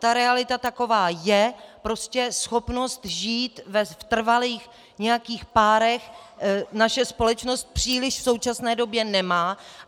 Ta realita taková je, prostě schopnost žít v nějakých trvalých párech naše společnost příliš v současné době nemá.